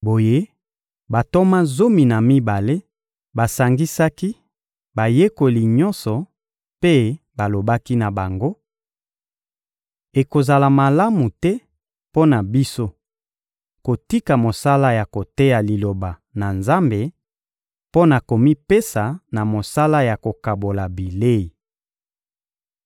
Boye, bantoma zomi na mibale basangisaki bayekoli nyonso mpe balobaki na bango: — Ekozala malamu te mpo na biso kotika mosala ya koteya Liloba na Nzambe mpo na komipesa na mosala ya kokabola bilei.